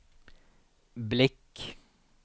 blick